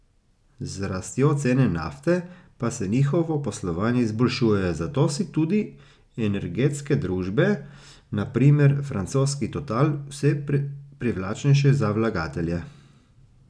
Z rastjo cene nafte pa se njihovo poslovanje izboljšuje, zato so tudi energetske družbe, na primer francoski Total, vse privlačnejše za vlagatelje.